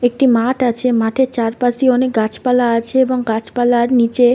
একটি মাঠ আছে। মাঠের চারপাশে অনেক গাছপালা আছে এবং গাছপালার নিচে --